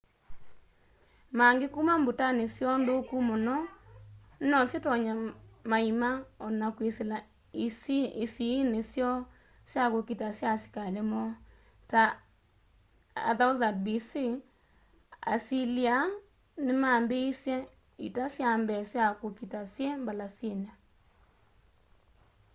maangĩ kũma mbũtanĩ syoo nthũkũ mũno nosyĩtonye maĩma ona kwĩsĩla ĩsĩĩnĩ syoo sya kũkita sya asĩkalĩ moo.ta 1000 b.c. asĩlĩa nĩmambĩĩsye ita syambee sya kũkita syĩ mbalasĩnĩ